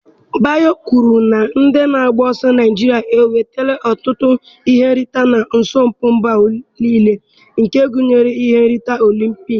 Bayo kwuru na ndị na-agba ọsọ Naịjirịa enwetala ọtụtụ ihe nrite na asọmpi mba ụwa, gụnyere ihe nrite Olympikii.